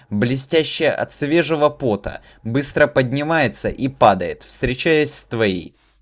блестящая от свежего пота быстро поднимается и падает встречаясь с твоей